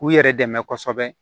K'u yɛrɛ dɛmɛ kosɛbɛ